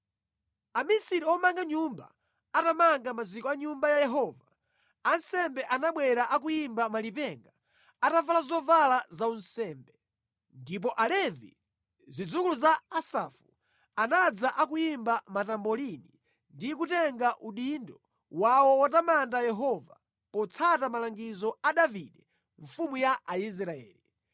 Amisiri omanga nyumba atamanga maziko a Nyumba ya Yehova, ansembe anabwera akuyimba malipenga, atavala zovala zaunsembe. Ndipo Alevi, zidzukulu za Asafu, anadza akuyimba matambolini ndi kutenga udindo wawo wotamanda Yehova, potsata malangizo a Davide mfumu ya Aisraeli.